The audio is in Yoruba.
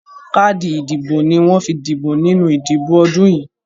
Káàdì ìdìbò ni wọ́n fi dìbò nínú ìdìbò ọdún yìí.